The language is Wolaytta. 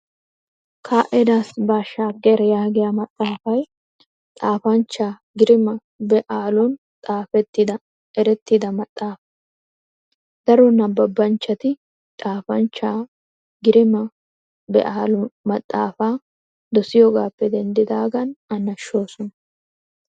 "Ke'admas baashshaager" yaagiya maxaafay xaafanchcha Girima Be"aalun xaafettida erettida maxaafaa. Daro nabbabanchchati xaafanchchaa Girma Be"aalu maxaafaa dosiyogaappe denddaagan a nashshoosona.